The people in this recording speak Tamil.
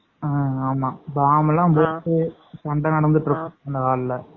ஆஹ் ஆமா பாம் எல்லாம் போட்டு சண்ட நடந்துட்டு இருக்கும்